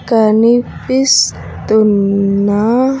కనిపిస్తున్నా